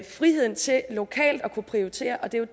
friheden til lokalt at kunne prioritere og det er jo